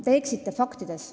Te eksite faktides.